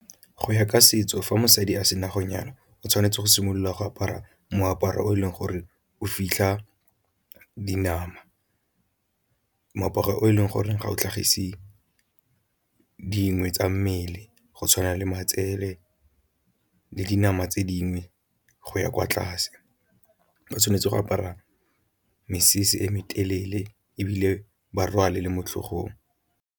Go ya ka setso fa mosadi a sena go nyala o tshwanetse go simolola go apara moaparo o e leng gore o fitlha dinama, moaparo o e leng gore ga o tlhagise dingwe tsa mmele go tshwana le matsele le dinama tse dingwe go ya kwa tlase. Ba tshwanetse go apara mesese e me telele ebile ba rwale le motlhogong.